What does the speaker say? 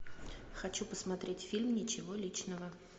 хочу посмотреть фильм ничего личного